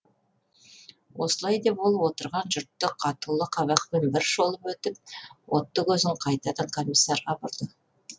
осылай деп ол отырған жұртты қатулы қабақпен бір шолып өтіп отты көзін қайтадан комиссарға бұрды